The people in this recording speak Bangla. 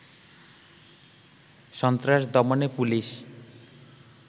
সন্ত্রাস দমনে পুলিশ